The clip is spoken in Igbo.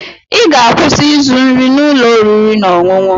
Ị ga-akwụsị ịzụ nri n'ụlọ oriri na ọṅụṅụ!